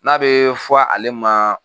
N'a be fɔ ale ma